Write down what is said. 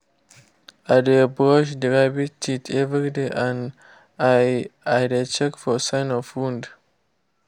i dey brush the rabbit teeth every day and i i dey check for sign of wound